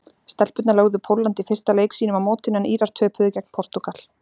Stelpurnar lögðu Pólland í fyrsta leik sínum á mótinu en Írar töpuðu gegn Portúgal.